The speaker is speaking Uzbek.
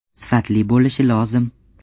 Sifatli bo‘lishi lozim.